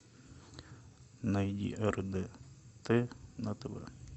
найди рдт на тв